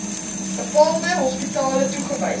bepaalde hospitale toegewys